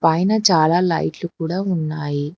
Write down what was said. ఐనా చాలా లైట్లు కూడా ఉన్నాయి.